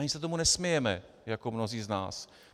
Ani se tomu nesmějeme jako mnozí z nás.